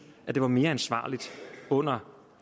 at det var mere ansvarligt under